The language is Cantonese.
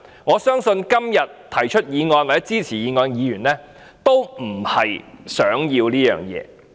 我相信這不是今天提出或支持議案的議員想要的。